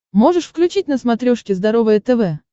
можешь включить на смотрешке здоровое тв